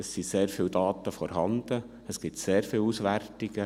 Es sind sehr viele Daten vorhanden, es gibt sehr viele Auswertungen.